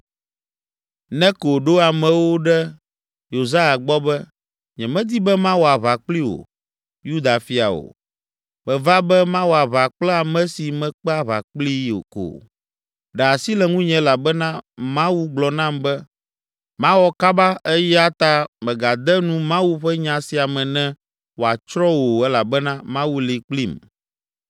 Neko ɖo amewo ɖe Yosia gbɔ be, “Nyemedi be mawɔ aʋa kpli wò, Yuda fia, o! Meva be mawɔ aʋa kple ame si mekpe aʋa kplii ko. Ɖe asi le ŋunye elabena Mawu gblɔ nam be, mawɔ kaba eya ta mègade nu Mawu ƒe nya sia me ne wòatsrɔ̃ wò o elabena Mawu li kplim.”